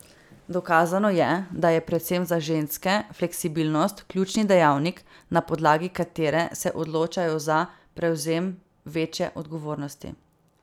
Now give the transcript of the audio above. Dokazano je, da je predvsem za ženske fleksibilnost ključni dejavnik, na podlagi katere se odločajo za prevzem večje odgovornosti.